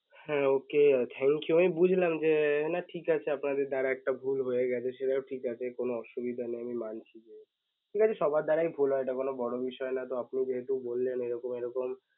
হ্যাঁ ok thank you আমি বুঝলাম যে না ঠিক আছে আপনাদের দ্বারা একটা ভুল হয়েগেছে সেটাও ঠিক আছে কোন অসুবিধা নেই আমি মানছি যে actually সবার দ্বারাই ভুল হয় এটা কোন বড় বিষয় না তো আপনি যেহেতু বললেন এইরকম এইরকম